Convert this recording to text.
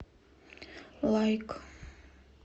лайк